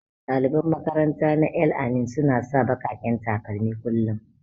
Daliban makaranta na El-amin suna sa bakaken takalmi kullum.